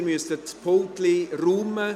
Sie müssen Ihre Pulte räumen.